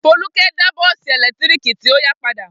Folúkẹ́ dá bọ́ọ́sì ẹ̀lẹ́tíríkì tó yá padà?